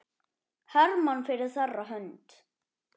Hermann fyrir þeirra hönd.